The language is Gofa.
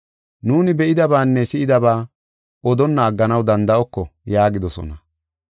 Nuuni be7idabaanne si7idaba odonna agganaw danda7oko” yaagidosona.